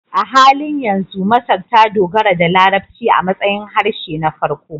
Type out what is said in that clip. A halin yanzu, Masar ta dogara da Larabci a matsayin harshe na farko